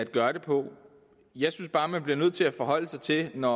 gøre det på jeg synes bare at man bliver nødt til at forholde sig til det når